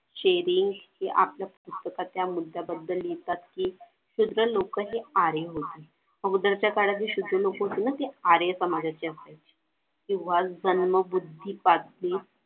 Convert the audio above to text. sharing हे आपल्या पुस्तकातल्या मुद्याबद्दल लिहितात कि शुद्ध लोक हि आर्य होती. अगोदरच्या काळातील शुद्ध लोक होती ना ती आर्य समाजाचे होते किंवा जन्मबुद्धीसाठी